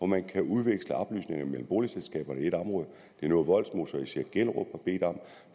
man kan udveksle oplysninger mellem boligselskaberne i et område det er noget vollsmose og især gellerup har bedt om